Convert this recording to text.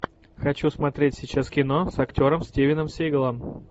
хочу смотреть сейчас кино с актером стивеном сигалом